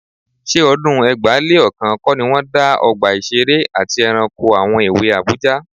Ṣé ọdún ẹgbàá-lé-ọ̀kan kọ́ ni wọ́n dá Ọgbà Ìṣeré àti Ẹranko àwọn èwe Àbújá?